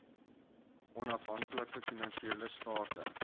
onafhaklike finansiële state